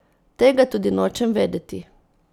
Tega tudi nočem vedeti.